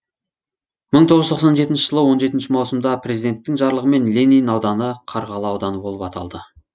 мың тоғыз жүз тоқсан жетінші жылы он жетінші маусымда президенттің жарлығымен ленин ауданы қарғалы ауданы болып аталды